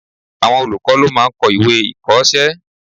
Àwọn olùkọ́ ló máà ń kọ́ ìwé-ìkọ̀ọ́sẹ́